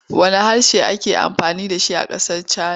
Wanne harshe ake amfani da shi a ƙasar Cana.